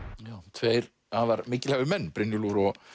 tveir afar mikilhæfir menn Brynjólfur og